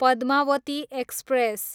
Padmavati express